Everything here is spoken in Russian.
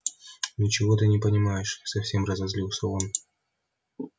ничего ты не понимаешь совсем разозлился он